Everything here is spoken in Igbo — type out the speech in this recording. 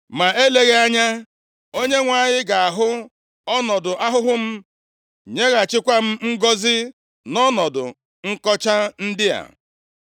Ma eleghị anya, Onyenwe anyị ga-ahụ ọnọdụ ahụhụ m, nyeghachikwa m ngọzị nʼọnọdụ nkọcha ndị a.”